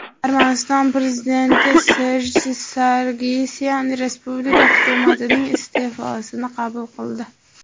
Armaniston prezidenti Serj Sargsyan respublika hukumatining iste’fosini qabul qildi.